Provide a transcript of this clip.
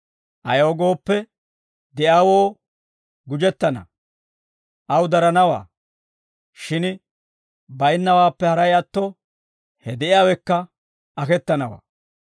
Ayaw gooppe, de'iyaawoo gujettana; aw daranawaa; shin baynnawaappe haray atto, he de'iyaawekka aketanawaa.